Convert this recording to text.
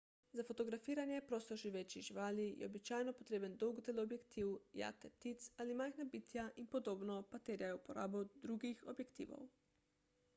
za fotografiranje prostoživečih živali je običajno potreben dolg teleobjektiv jate ptic ali majhna bitja in podobno pa terjajo uporabo drugih objektivov